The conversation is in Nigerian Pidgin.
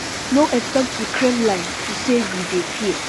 no expect di kremlin to say we dey fear